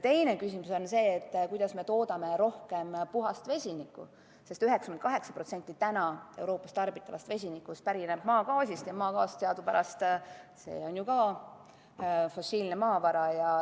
Teine küsimus on see, kuidas me saaksime toota rohkem puhast vesinikku, sest 98% Euroopas tarbitavast vesinikust pärineb maagaasist ja maagaas teadupärast on ju ka fossiilne maavara.